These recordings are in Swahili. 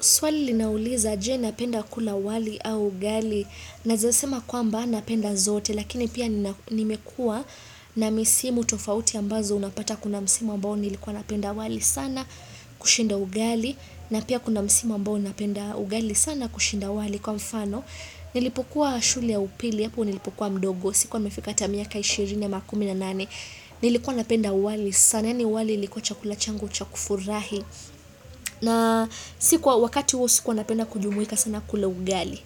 Swali linauliza, je napenda kula wali au ugali, naeza sema kwamba napenda zote, lakini pia nimekua na misimu tofauti ambazo unapata kuna msima ambao nilikuwa napenda wali sana kushinda ugali, na pia kuna msimu ambao napenda ugali sana kushinda wali kwa mfano, nilipokua shule ya upili, yapu nilipukua mdogo, sikuwa mfikata miaka ishirini ya makumi na nani, nilikuwa napenda wali sana, ya ni wali likuwa chakulachangu chakufurahi. Na sikuwa wakati huo sikuwa napenda kujumuika sana kula ugali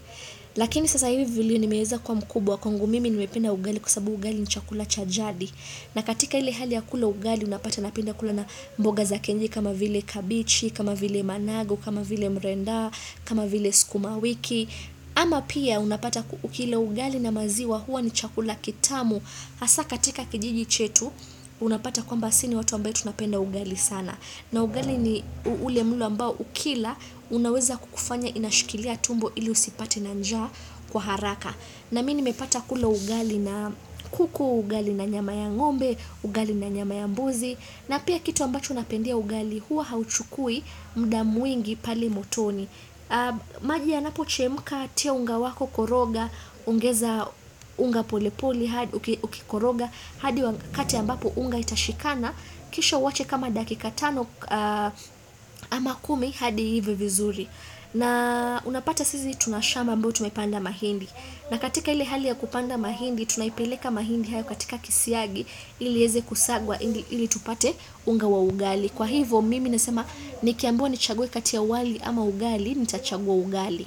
lakini sasa hivi vilio nimeeza kwa mkubwa kwangu mimi nimependa ugali kwasababu ugali ni chakula cha jadi na katika hili hali ya kula ugali unapata napenda kula na mboga za kenyeji kama vile kabichi, kama vile managu, kama vile mrenda, kama vile sukuma wiki ama pia unapata ukila ugali na maziwa huwa ni chakula kitamu hasa katika kijiji chetu unapata kwamba si ni watu ambaye tunapenda ugali sana na ugali ni ule mle ambao ukila unaweza kukufanya inashikilia tumbo ili usipate na njaa kwa haraka. Na mi nimepata kula ugali na kuku, ugali na nyama ya ngombe, ugali na nyama ya mbuzi. Na pia kitu ambacho napendea ugali huwa hauchukui mda mwingi pale motoni. Maji yanapo chemka, tia unga wako koroga, ongeza unga polepole, hadi ukikoroga, hadi wakati ambapo unga itashikana. Kisha uwache kama dakika tano ama kumi hadi iive vizuri na unapata sisi tunashamba ambayo tumepanda mahindi na katika hili hali ya kupanda mahindi Tunaipeleka mahindi haya katika kisiagi Iliieze kusagwa hili tupate unga wa ugali Kwa hivo mimi nasema nikiambiwa nichague kati ya wali ama ugali Nitachagua ugali.